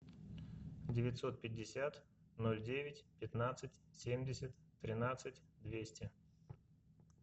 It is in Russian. девятьсот пятьдесят ноль девять пятнадцать семьдесят тринадцать двести